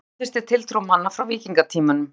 þetta staðfestir tiltrú manna frá víkingatímanum